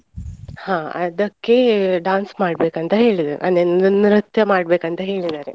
ಹಾ ಅದಕ್ಕೆ dance ಮಾಡ್ಬೇಕ್ ಅಂತ ಹೇಳಿದ್ದಾರೆ, ಅಂದ್ರೆ ನೃ~ ನೃತ್ಯ ಮಾಡ್ಬೇಕ್ ಅಂತ ಹೇಳಿದ್ದಾರೆ.